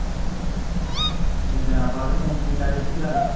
ਬੜੇ ਦਿਨਾਂ ਬਾਅਦ ਫੋਨ ਕੀਤਾ, ਕੀ ਗੱਲ